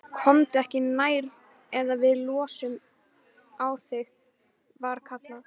Komdu ekki nær eða við lossum á þig, var kallað.